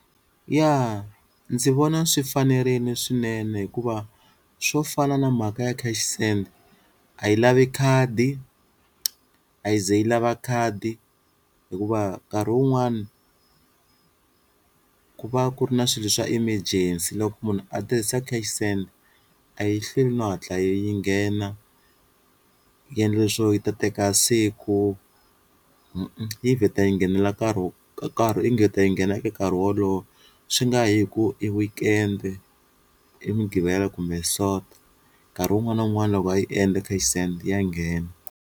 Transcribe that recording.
Ya ndzi vona swi fanerini swinene hikuva swo fana na mhaka ya cash send a yi lavi khadi a yi ze yi lava khadi hikuva nkarhi wun'wani ku va ku ri na swilo swa emergency loko munhu a tirhisa cash send, a yi hlweli no hatla yi nghena yi endla leswo yi ta teka siku i vheta yi nghenela nkarhi karhi yi nghena eka nkarhi wolowo swi nga yi hi ku i weekend i mugqivela kumbe soto, nkarhi wun'wani na wun'wani loko va yi endla cash send ya nghena.